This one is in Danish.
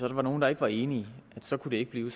der var nogle der ikke var enige så kunne det ikke blive